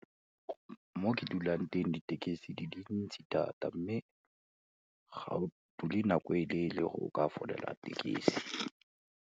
Mo ke dulang teng, ditekisi di dintsi thata mme ga o dule nako e leele go ka folela tekisi.